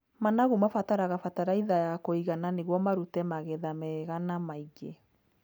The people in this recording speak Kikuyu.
Managu mabataraga bataraitha ya kũigana nĩguo marute magetha mega na maingĩ.